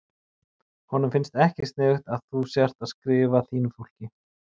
Honum finnst ekki sniðugt að þú sért að skrifa þínu fólki.